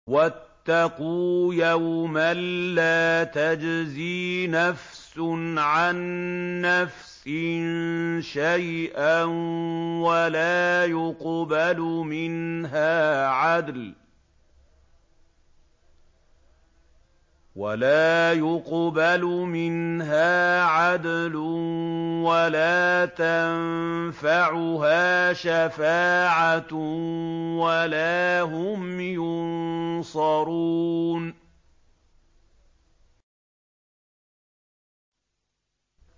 وَاتَّقُوا يَوْمًا لَّا تَجْزِي نَفْسٌ عَن نَّفْسٍ شَيْئًا وَلَا يُقْبَلُ مِنْهَا عَدْلٌ وَلَا تَنفَعُهَا شَفَاعَةٌ وَلَا هُمْ يُنصَرُونَ